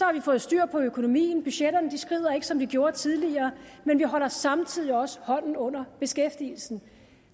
har vi fået styr på økonomien budgetterne skrider ikke som de gjorde tidligere vi holder samtidig også hånden under beskæftigelsen